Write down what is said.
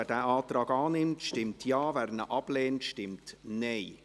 Wer diesen Antrag annimmt, stimmt Ja, wer diesen ablehnt, stimmt Nein.